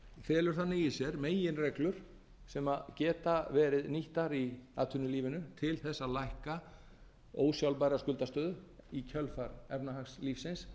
felur þannig í sér meginreglur sem geta verið nýttar í atvinnulífinu til þess að lækka ósjálfbæra skuldastöðu í kjölfar efnahagslífsins